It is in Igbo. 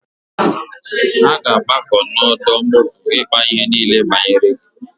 Ha ga-agbakọ n'ọdọ moto ịkpa ihe niile banyere gi.